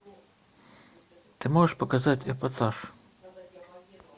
ты можешь показать эпатаж